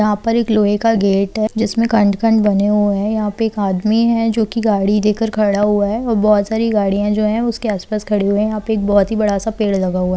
यहां पर एक लोहे का गेट है जिसमें खंड-खंड बने हुए हैं यहां पर एक आदमी है जो की गाड़ी लेकर खड़ा हुआ है बहुत सारी गाड़ियां जो है उसके आस-पास खड़ी हुई है यहां पे एक बहुत बड़ा-सा पेड़ लगा हुआ है।